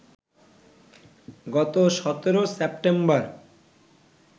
গত ১৭ সেপ্টেম্বর